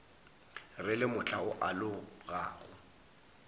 re le mohla o alogago